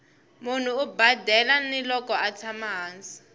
munhu u badela ni loko atshama hansi